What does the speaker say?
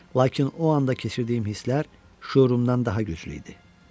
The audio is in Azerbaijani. Lakin o anda keçirdiyim hisslər şuurumdan daha güclü idi.